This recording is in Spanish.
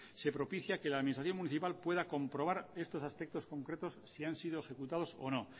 se propicia que la administración municipal pueda comprobar estos aspectos concretos si han sido ejecutados o no